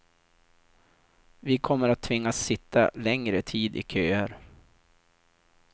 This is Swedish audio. Vi kommer att tvingas sitta längre tid i köer.